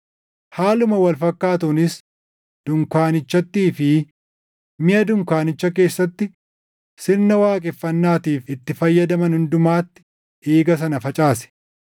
Haaluma wal fakkaatuunis dunkaanichattii fi miʼa dunkaanicha keessatti sirna waaqeffannaatiif itti fayyadaman hundumatti dhiiga sana facaase.